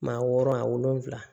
Maa wɔɔrɔ a wolonfila